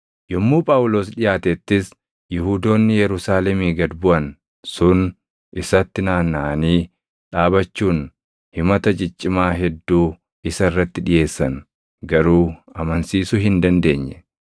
Yommuu Phaawulos dhiʼaatettis Yihuudoonni Yerusaalemii gad buʼan sun isatti naannaʼanii dhaabachuun himata ciccimaa hedduu isa irratti dhiʼeessan; garuu amansiisuu hin dandeenye.